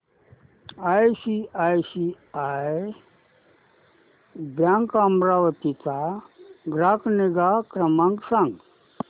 ICICI bank Amravati चा ग्राहक निगा क्रमांक सांगा